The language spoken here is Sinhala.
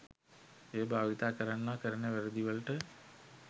එය භාවිතා කරන්නා කරන වැරදි වලට